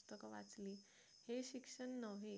पुस्तक वाचलेले शिक्षण नव्हे